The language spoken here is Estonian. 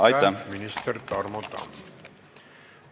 Aitäh, minister Tarmo Tamm!